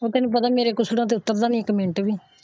ਤੈਨੂੰ ਪਤਾ ਮੇਰੇ ਕੁਝ ਉੱਤਰ ਦਾ ਨਹੀਂ ਕੁਝ ਇੱਕ ਮਿੰਟ ਵੀ।